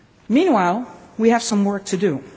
place. Meanwhile, we have some work